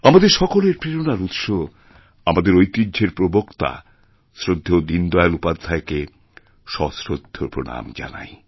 আমাদেরসকলের প্রেরণার উৎস আমাদের ঐতিহ্যের প্রবক্তা শ্রদ্ধেয় দীনদয়াল উপাধ্যায়কেসশ্রদ্ধ প্রণাম জানাই